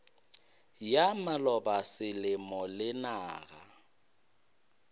ya maloba selemo le naga